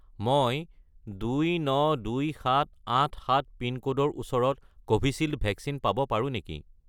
মই 292787 পিনক'ডৰ ওচৰত কোভিচিল্ড ভেকচিন পাব পাৰোঁ নেকি?